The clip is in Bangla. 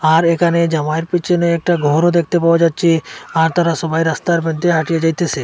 আর একানে জামাইয়ের পিছনে একটা ঘরও দেখতে পাওয়া যাচ্চে আর তারা সবাই রাস্তার মইদ্যে হাঁটিয়া যাইতেসে।